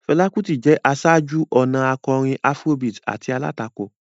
Fela Kuti jẹ́ aṣáájú-ọ̀nà akọrin Afrobeat àti alátakò.